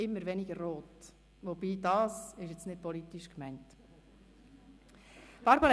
immer weniger Rot, wobei das nicht politisch gemeint ist.